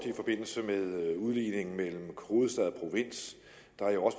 i forbindelse med udligningen mellem hovedstad